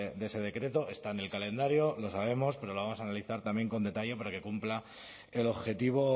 de ese decreto está en el calendario lo sabemos pero lo vamos a analizar también con detalle para que cumpla el objetivo